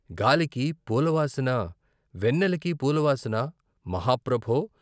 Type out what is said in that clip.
గాలికి పూల వాసన వెన్నెలకి పూల వాసన మహా ప్రభో.